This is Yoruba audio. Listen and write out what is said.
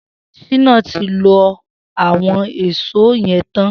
Shina ti ló awọn ìṣó yẹ̀n tán